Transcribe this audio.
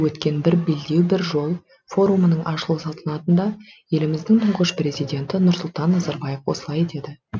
өткен бір белдеу бір жол форумының ашылу салтанатында еліміздің тұңғыш президенті нұрсұлтан назарбаев осылай деді